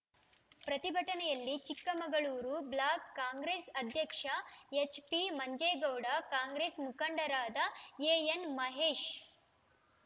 ಪ್ರತಿಭಟನೆಯಲ್ಲಿ ಚಿಕ್ಕಮಗಳೂರು ಬ್ಲಾಕ್‌ ಕಾಂಗ್ರೆಸ್‌ ಅಧ್ಯಕ್ಷ ಎಚ್‌ಪಿ ಮಂಜೇಗೌಡ ಕಾಂಗ್ರೆಸ್‌ ಮುಖಂಡರಾದ ಎಎನ್‌ ಮಹೇಶ್‌